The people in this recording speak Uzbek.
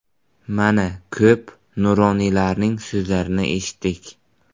Mana, ko‘p nuroniylarning so‘zlarini eshitdik.